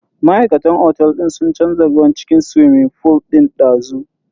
Ma'aikatan otel din sun canza ruwan cikin swimming fool din dazu.